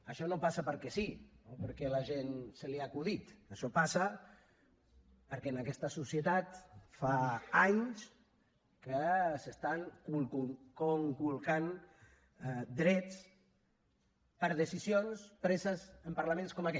això no passa perquè sí o perquè a la gent se li ha acudit això passa perquè en aquesta societat fa anys que s’estan conculcant drets per decisions preses en parlaments com aquest